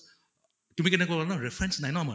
তুমি কʼলা ন reference নাই ্আন মাৰ